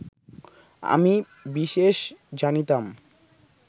আমি বিশেষ জানিতাম